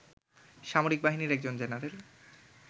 সামরিক বাহিনীর একজন জেনারেল